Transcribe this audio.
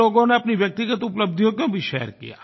कुछ लोगों ने अपनी व्यक्तिगत उपलब्धियों को भी शेयर किया